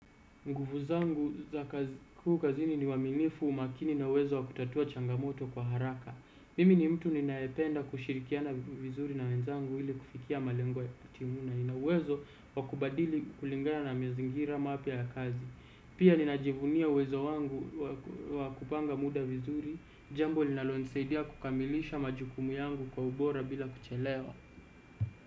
Nguvu zangu za kazi kuu kazini ni uaminifu, umakini na uwezo wa kutatua changamoto kwa haraka. Mimi ni mtu ninaependa kishirikana vizuri na wenzangu ili kufikia malengo ya kutimuna. Nini uwezo wa kubadili kulingana na mazingira mapya ya kazi pia ninajivunia uwezo wangu wa kupanga muda vizuri. Jambo linalo nisaidia kukamilisha majukimu yangu kwa ubora bila kuchelewa.